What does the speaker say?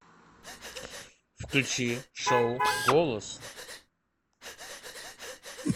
включи шоу голос